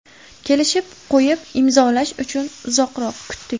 Kelishib qo‘yib, imzolash uchun uzoq kutdik.